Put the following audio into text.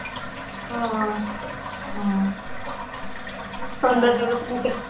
ਹਾਂ ਹੂੰ ਸਿਲੰਡਰ ਜੋਗੇ ਤਾਂ ਪੈਸੇ